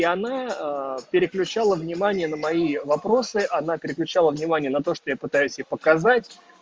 и она переключала внимание на мои вопросы она переключила внимание на то что я пытаюсь ей показать